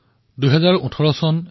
আমি ২০১৯ বৰ্ষৰ প্ৰৱেশৰ পথত